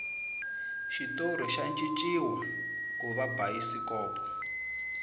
xitori xa cinciwa kuva bayisikopo